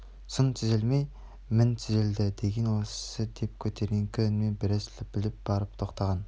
сын түзелмей мін түзелмейді деген осы деп көтеріңкі үнмен біраз лепіріп барып тоқтаған